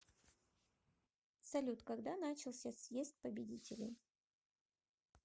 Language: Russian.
салют когда начался съезд победителей